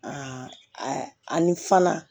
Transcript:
ani fana